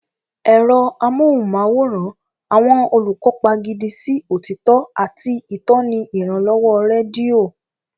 Ẹ̀rọ amóhùnmáwòrán, àwọn olùkópa gidi sí òtítọ́, àti ìtọ́ni ìrànlọ́wọ́ rédíò.